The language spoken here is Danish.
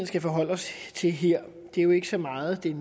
skal forholde os til her jo ikke så meget er